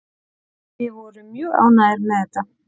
Við vorum mjög ánægðir með þetta